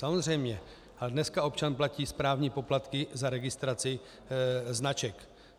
Samozřejmě, ale dneska občan platí správní poplatky za registraci značek.